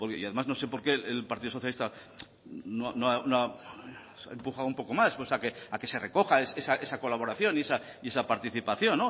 y además no sé por qué el partido socialista no ha empujado un poco más a que se recoja esa colaboración y esa participación